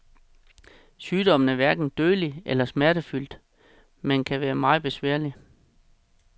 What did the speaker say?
Sygdommen er hverken dødelig eller smertefyldt, men kan være meget besværlig.